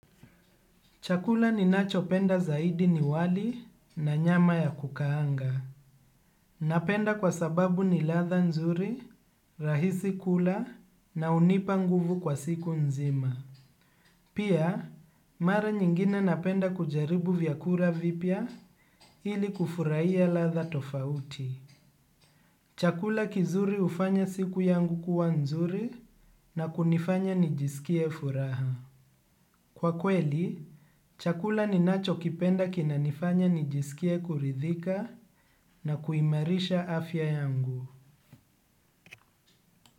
Chakula ninacho penda zaidi ni wali na nyama ya kukaanga. Napenda kwa sababu ni ladha nzuri, rahisi kula na hunipa nguvu kwa siku nzima. Pia, mara nyingine napenda kujaribu vyakula vipya ili kufurahiya ladha tofauti. Chakula kizuri hufanya siku yangu kuwa nzuri na kunifanya nijiskie furaha. Kwa kweli, chakula ninacho kipenda kinanifanya nijiskie kuridhika na kuimarisha afya yangu.